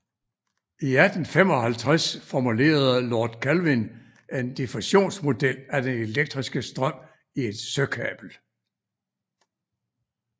I 1855 formulerede Lord Kelvin en diffusionsmodel af den elektriske strøm i et søkabel